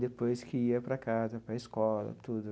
Depois que ia para casa, para a escola, tudo.